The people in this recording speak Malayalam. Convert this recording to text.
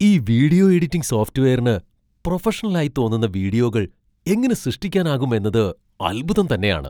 ഈ വീഡിയോ എഡിറ്റിംഗ് സോഫ്റ്റ്വെയറിന് പ്രൊഫഷണലായി തോന്നുന്ന വീഡിയോകൾ എങ്ങനെ സൃഷ്ടിക്കാനാകും എന്നത് അൽഭുതം തന്നെയാണ്.